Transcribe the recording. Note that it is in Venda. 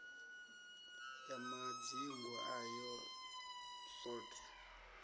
ya madzingu ayo t hod